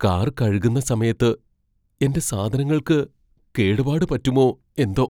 Car കഴുകുന്ന സമയത്ത് എന്റെ സാധനങ്ങൾക്ക് കേടുപാട് പറ്റുമോ എന്തോ!